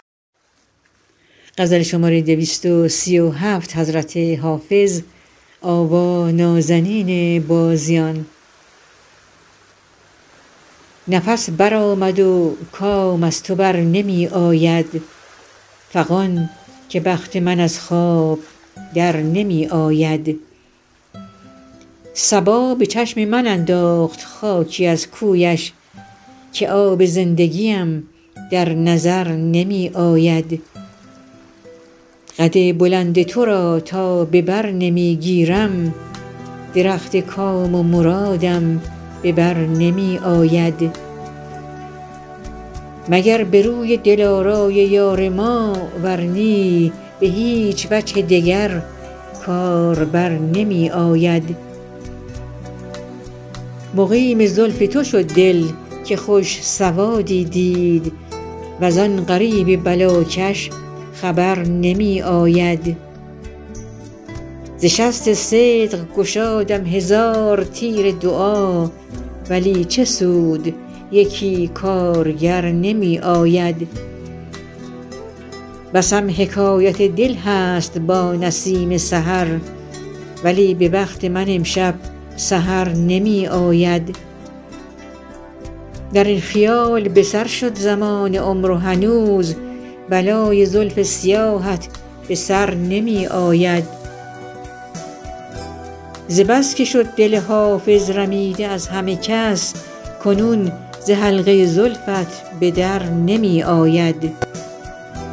نفس برآمد و کام از تو بر نمی آید فغان که بخت من از خواب در نمی آید صبا به چشم من انداخت خاکی از کویش که آب زندگیم در نظر نمی آید قد بلند تو را تا به بر نمی گیرم درخت کام و مرادم به بر نمی آید مگر به روی دلارای یار ما ور نی به هیچ وجه دگر کار بر نمی آید مقیم زلف تو شد دل که خوش سوادی دید وز آن غریب بلاکش خبر نمی آید ز شست صدق گشادم هزار تیر دعا ولی چه سود یکی کارگر نمی آید بسم حکایت دل هست با نسیم سحر ولی به بخت من امشب سحر نمی آید در این خیال به سر شد زمان عمر و هنوز بلای زلف سیاهت به سر نمی آید ز بس که شد دل حافظ رمیده از همه کس کنون ز حلقه زلفت به در نمی آید